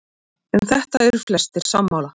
Um þetta eru flestir sammála.